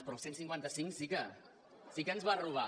però el cent i cinquanta cinc sí que ens va robar